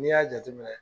N'i y'a jateminɛ